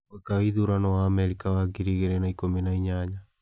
Mwaka wa ithurano wa Amerika wa ngiri igĩrĩ na ikũmi na inyanya: